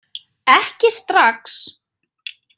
Ekki strax!